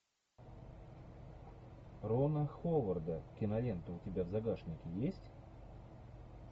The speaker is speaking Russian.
рона ховарда кинолента у тебя в загашнике есть